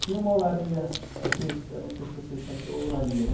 Tinha uma olaria, vocês, eu não sei se vocês sabem o que é olaria, né?